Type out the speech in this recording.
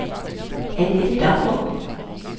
Anette Daugaard